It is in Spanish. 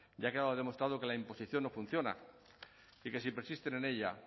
ya ha quedado demostrado que la imposición no funciona y que si persisten en ella